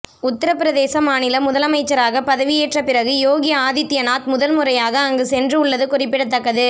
உத்தரப்பிரதேச மாநில முதலமைச்சராக பதவியேற்ற பிறகு யோகி ஆதித்யநாத் முதல் முறையாக அங்கு சென்று உள்ளது குறிப்பிடதக்கது